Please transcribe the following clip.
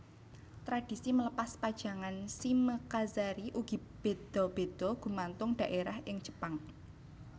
Tradisi melepas pajangan shimekazari ugi béda béda gumantung dhaérah ing Jepang